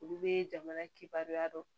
Olu bɛ jamana kibaruya dɔn